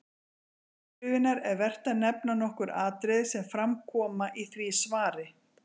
Til upprifjunar er vert að nefna nokkur atriði sem fram koma í því svari.